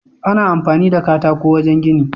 Ana amfani da katako wajan gini